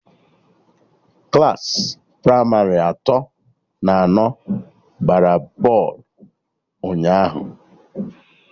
Klassị pramarị atọ na anọ gbara bọlụ ụnyaahụ